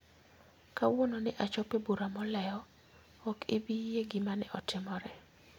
Kawuono ne achopo e bura molewo, ok ibi yie gima ne otimore